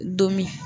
Don min